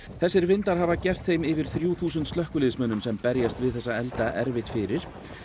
þessir vindar hafa gert þeim yfir þrjú þúsund slökkviliðsmönnum sem berjast við þessa elda erfitt fyrir